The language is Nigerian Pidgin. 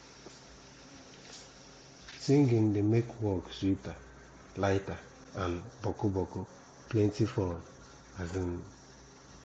singing de make work sweeter lighter and boku boku plenti fun um